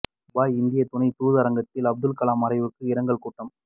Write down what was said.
Dubai இந்திய துணைத் தூதரகத்தில் அப்துல் கலாம் மறைவுக்கு இரங்கல் கூட்டம்